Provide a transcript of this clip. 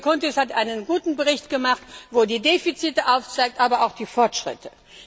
Der Kollege Chountis hat einen guten Bericht gemacht, wo die Defizite aufgezeigt werden, aber auch die Fortschritte.